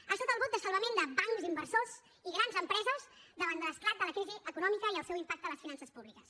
ha estat el bot de salvament de bancs inversors i grans empreses davant de l’esclat de la crisi econòmica i el seu impacte a les finances públiques